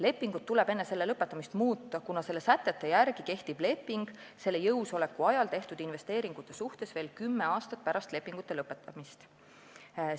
Lepingut tuleb enne selle lõpetamist muuta, kuna selle sätete järgi kehtib leping selle jõusoleku ajal tehtud investeeringute suhtes veel kümme aastat pärast lepingu lõpetamist.